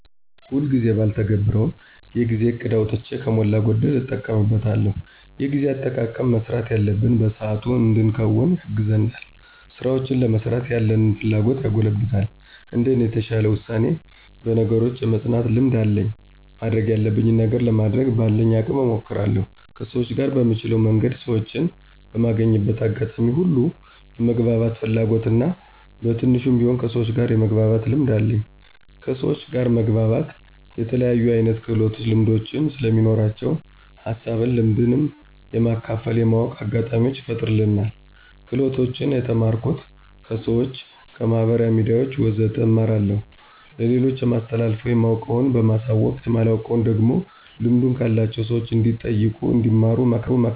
ሁልጊዜ ጊዜ ባልተገብረውም የጊዜ እቅድ አውጥቼ ከሞላ ጎደል እጠቀምበታለሁ። የጊዜ አጠቃቀም መስራት ያለብንን በሰአቱ እንድንከውን ያግዘናል፣ ስራውችን ለመስራት ያለንን ፍላጎት ያጎለብታል። እንደኔ የተሻለ ውሳኔ፣ በነገሮች የመፅናት ልምድ አለኝ ማድረግ ያለብኝን ነገር ለማድረግ በአለኝ አቅም እሞክራለሁ። ከሰውች ጋር በምችለው መንገድ ሰወችን በማገኝበት አጋጣሚዎች ሁሉ የመግባባት ፍላጎት እና በትንሹም ቢሆን ከሰውች ጋር የመግባባት ልምድ አለኝ። ከሰውች ጋር መግባባት የተለያየ አይነት ክህሎቶች ልምዶች ስለሚኖራቸው ሀሳብንም ልምድንም የመካፈል የማወቅ አጋጣሚውችን ይፈጥርልናል። ክህሎቶችን የተማርኩት፦ ከሰውች፣ ከማህበራዊ ሚዲያውች ወዘተ እማራለሁኝ። ለሌሎች የማስተላልፈው የማውቀውን በማሳወቅ የማላውቀውን ደግሞ ልምዱ ካላቸው ሰውች እንዲጠይቁ እንዲማሩ አመክራለሁኝ።